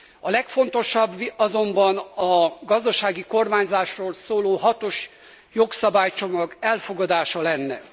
A legfontosabb azonban a gazdasági kormányzásról szóló hatos jogszabálycsomag elfogadása lenne.